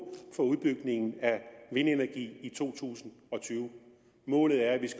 for udbygningen af vindenergi i to tusind og tyve målet er